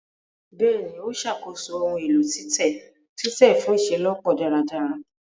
Bẹẹni, o ṣàkóso ohùn èlò titẹ titẹ fun iṣelọpọ dáradára